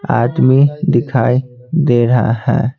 आदमी दिखाई दे रहा है।